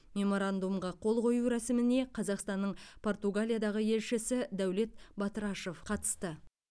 меморандумға қол қою рәсіміне қазақстанның португалиядағы елшісі дәулет батырашев қатысты